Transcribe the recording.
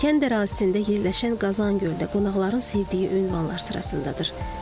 Kənd ərazisində yerləşən Qazan Gölü də qonaqların sevdiyi ünvanlar sırasındadır.